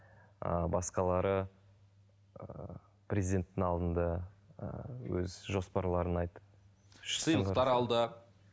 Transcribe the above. ыыы басқалары ыыы президентің алдында ыыы өз жоспарларын айтып